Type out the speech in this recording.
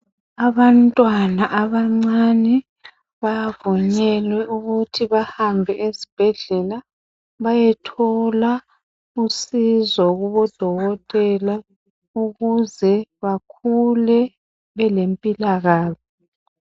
Abantwana abancani bavunyelwe ukuthi bahambe ezibhedlela beyothola usizo kubodokotela ukuze bakhule belempilakahle.